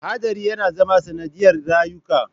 Haɗari yana zama sanadiyar rayuka.